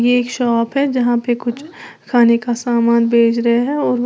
ये एक शॉप है जहां पे कुछ खाने का सामान भेज रहे हैं